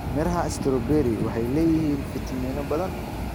Midhaha strawberry waxay leeyihiin fiitamiino badan.